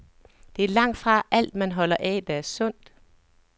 Det er langtfra alt, man holder af, der er sundt.